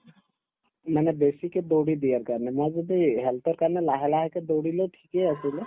মানে বেছিকে দৌৰি দিয়াৰ কাৰণে মাজতে এই health ৰ কাৰণে লাহে লাহেকে দৌৰিলেও ঠিকে আছিলে